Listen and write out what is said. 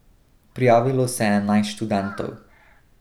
Prijavilo se je enajst študentov.